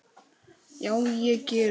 Já, ég geri það núna.